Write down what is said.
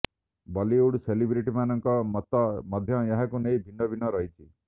ବଲିଉଡ୍ ସେଲେବ୍ରିଟିମାନଙ୍କ ମତ ମଧ୍ୟ ଏହାକୁ ନେଇ ଭିନ୍ନ ଭିନ୍ନ ରହିଛି